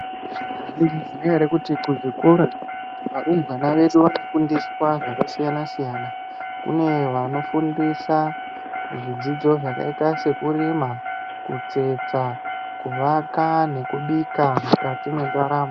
Mwaizviziya ere kuti kuzvikora varumbwana vedu vanofundiswa zvakasiyana siyana, kune vanofundiswa zvidzidzo zvakaita sekurima, kutsetsa, kuvaka nekubika mukati mwendaramo.